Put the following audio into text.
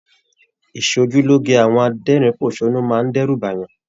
Ìsòjúloge àwọn adẹ́rínposónú máa n d'ẹru b'ayan.